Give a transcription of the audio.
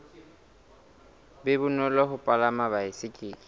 be bonolo ho palama baesekele